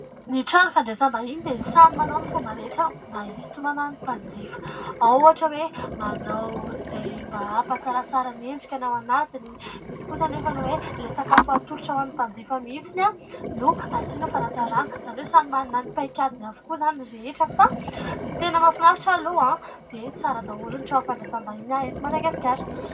Ny trano fandraisam-bahiny dia samy manao ny fomba rehetra mba hisitonana ny mpanjifa ao ohatra hoe : manao izay mba hampatsaratsara ny endrika ny ao anatiny, misy kosa anefa ny hoe : ilay sakafo hatolotra ho an'ny mpanjifa mihitsiny no asiana fanantsarana izany hoe : samy manana ny paikadiny avokoa izany ny rehetra, fa ny tena mahafinaritra aloha dia tsara daholo ny trano fandraisam-bahiny eto Madagasikara.